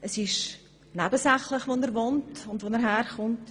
Dabei ist nebensächlich, wo er herkommt und wo er wohnt.